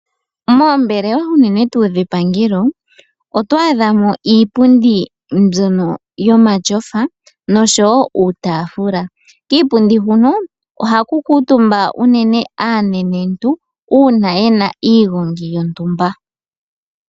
Moombelewa unene tuu dhepangelo otwaadhamo iipundi mbyono yomatyofa noshowo uutafula. Kiipundu huno ohaku kutumba unene aanenentu uuna yena iigongi yontumba.